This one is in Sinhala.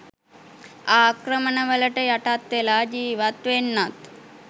ආක්‍රමණවලට යටත් වෙලා ජීවත් වෙන්නත්